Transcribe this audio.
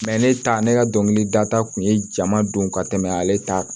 ne ta ne ka dɔnkilida ta kun ye jama don ka tɛmɛ ale ta kan